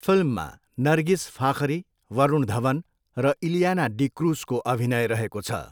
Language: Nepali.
फिल्ममा नरगिस फाखरी, वरुण धवन र इलियाना डिक्रुजको अभिनय रहेको छ।